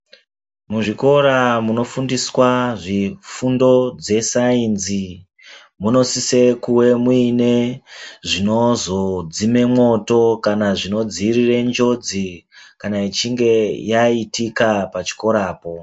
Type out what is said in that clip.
Muzvikora munofundwa zvifundo zvesaenzi munosise kunge muine zvinodzime mwoto kana zvinodziirire njozi kana ichinge yaitika pachikorapo.